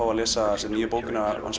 að lesa bók